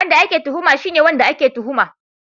Wanda ake tuhuma shine wanda ake tuhuma